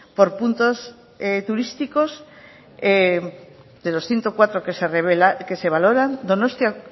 por puntos turísticos de los ciento cuatro que se valoran donostia